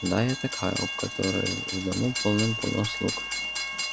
да я такая у которой в дому полным-полно слуг